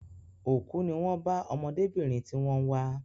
Òkú ní wón bá ọmọdébìnrin tí wón ń wá